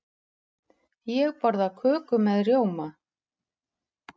Ég borða köku með rjóma.